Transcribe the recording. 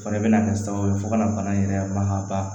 O fɛnɛ bɛna kɛ sababu ye fo ka na bana in yɛrɛ mankan